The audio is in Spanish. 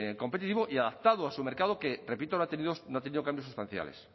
competitivo y adaptado a su mercado que repito no ha tenido cambios sustanciales